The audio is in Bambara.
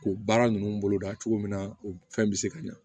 K'u baara ninnu boloda cogo min na u fɛn bɛ se ka ɲɛ